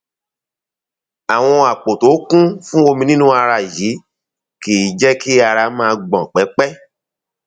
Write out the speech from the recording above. àwọn àpò tó kún fún omi nínú ara yìí kìí jẹ kí ara máa gbọn pẹpẹ